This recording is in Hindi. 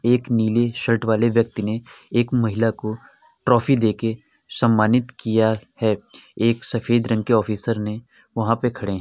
एक नीले शर्ट वाले व्यक्ति ने एक महिला को ट्रॉफी देके सम्मानित किया है। एक सफ़ेद रंग के ऑफिसर ने वहाँ पर खड़े हैं।